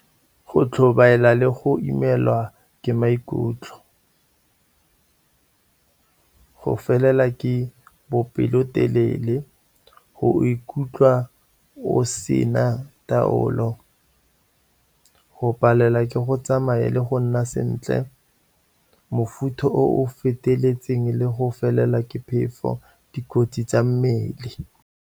Go tlhobaela le go imelwa ke maikutlo go felela ka bopelotelele, go ikutlwa o sena tsa taolo, go palelwa ke go tsamaya le go nna sentle, mofutho o feteletseng le go felelwa ke phefo, dikotsi tsa mmele.